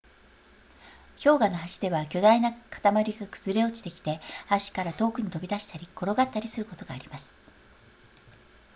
氷河の端では巨大な塊が崩れ落ちてきて端から遠くに飛び出したり転がったりすることがあります